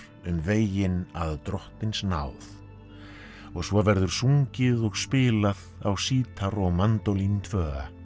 um veginn að drottins náð og svo verður sungið og spilað á sítar og mandólín tvö